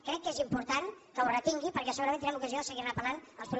crec que és important que ho retingui perquè segurament tindrem ocasió de seguir ne parlant els propers dies